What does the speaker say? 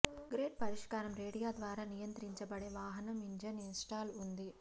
great పరిష్కారం radio ద్వారా నియంత్రించబడే వాహనం ఇంజిన్ ఇన్స్టాల్ ఉంది